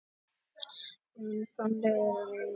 Bæði kynin framleiða mjólkina.